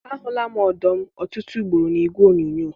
Ahụla m ọdụm ọtụtụ ugboro na igwe onyonyo.